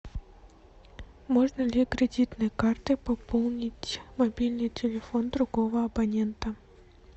можно ли кредитной картой пополнить мобильный телефон другого абонента